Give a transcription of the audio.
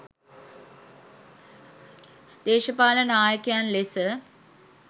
දේශපාලන නායකයන් ලෙස